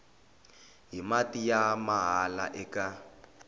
hi mati ya mahala eka